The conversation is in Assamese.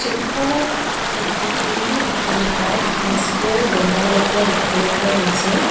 ছবিখনত এটি পুৰণি অট্টালিকাত এছ_বি_আই ৰ বেনাৰ লগোৱা দেখিবলৈ পোৱা গৈছে।